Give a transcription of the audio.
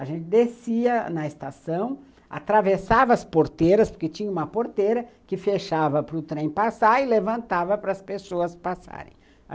A gente descia na estação, atravessava as porteiras, porque tinha uma porteira que fechava para o trem passar e levantava para as pessoas passarem.